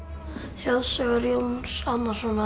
þjóðsögur Jóns Árnasonar